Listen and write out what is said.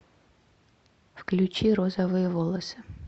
включи розовые волосы